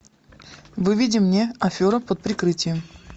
выведи мне афера под прикрытием